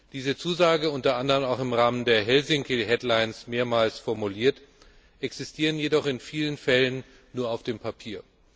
Diese Zusage unter anderem auch im Rahmen der Helsinki mehrmals formuliert existieren jedoch in vielen Fällen nur auf dem Papier.